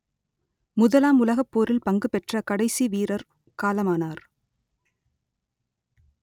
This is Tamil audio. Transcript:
முதலாம் உலகப்போரில் பங்குபெற்ற கடைசி வீரர் காலமானார்